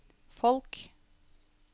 folk